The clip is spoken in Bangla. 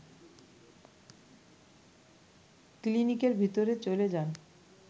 ক্লিনিকের ভিতরে চলে যান